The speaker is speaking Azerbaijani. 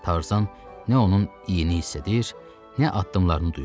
Tarzan nə onun iyini hiss edir, nə addımlarını duyurdu.